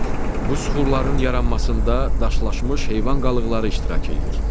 Bu süxurların yaranmasında daşlaşmış heyvan qalıqları iştirak eləyir.